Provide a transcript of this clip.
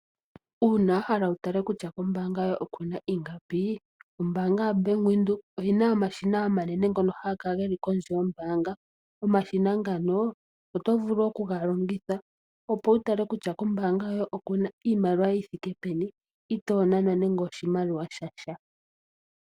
Uuna wahala wutale kutya kombaanga yoye okuna ingapi ombaanga yaBank Windhoek oyina omashina omanene ngono haga kala kondje yombaanga. Omashina ngano otovulu okugalongitha opo wutale kutya kombaanga yoye okuna iimaliwa yithike peni, itoonanwa nando oshimaliwa shasha.